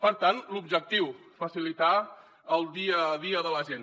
per tant l’objectiu facilitar el dia a dia de la gent